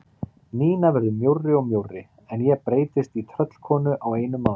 Nína verður mjórri og mjórri en ég breytist í tröllkonu á einum mánuði.